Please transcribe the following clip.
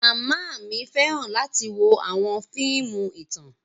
Mama mi fẹran lati wo awọn fiimu itan.